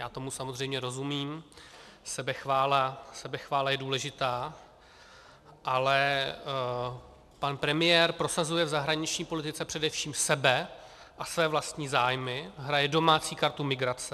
Já tomu samozřejmě rozumím, sebechvála je důležitá, ale pan premiér prosazuje v zahraniční politice především sebe a své vlastní zájmy, hraje domácí kartu migrace.